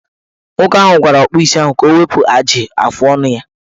Nwoke ahụ gwara ọkpụisi ahụ ka o wepu ajị afọọnụ ya.